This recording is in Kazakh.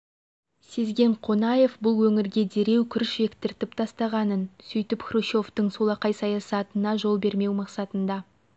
сезген қонаев бұл өңірге дереу күріш ектіртіп тастағанын сөйтіп хрущевтің солақай саясатына жол бермеу мақсатында